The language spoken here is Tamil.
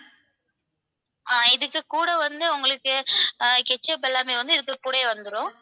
அஹ் இதுக்கு கூட வந்து உங்களுக்கு ketchup எல்லாமே வந்து இதுக்கு கூடவே வந்துரும்.